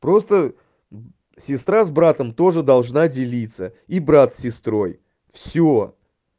просто сестра с братом тоже должна делиться и брат с сестрой всё